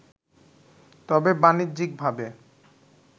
তবে বাণিজ্যিকভাবে